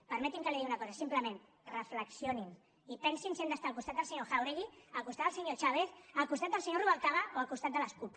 permeti’m que li digui una cosa simplement reflexionin i pensin si han d’estar al costat del senyor jáuregui al costat del senyor chávez al costat del senyor rubalcaba o al costat de la cup